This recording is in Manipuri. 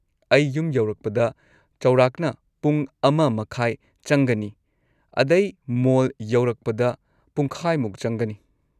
ꯑꯩ ꯌꯨꯝ ꯌꯧꯔꯛꯄꯗ ꯆꯥꯎꯔꯥꯛꯅ ꯄꯨꯡ ꯑꯃ ꯃꯈꯥꯏ ꯆꯪꯒꯅꯤ ꯑꯗꯩ ꯃꯣꯜ ꯌꯧꯔꯛꯄꯗ ꯄꯨꯡꯈꯥꯏꯃꯨꯛ ꯆꯪꯒꯅꯤ ꯫